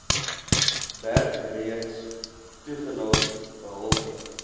bergreeks toegelaat behalwe